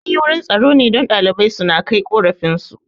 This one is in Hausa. Anyi wurin tsaro ne don ɗalibai suna kai korafin su